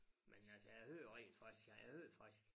Men altså jeg hører rent faktisk jeg hører faktisk